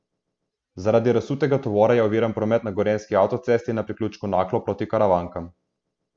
Zaradi razsutega tovora je oviran promet na gorenjski avtocesti na priključku Naklo proti Karavankam.